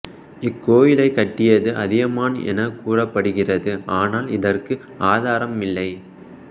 இக்கோயிலை கட்டியது அதியமான் என கூறப்படுகிறது ஆனால் இதற்கு ஆதாரமில்லை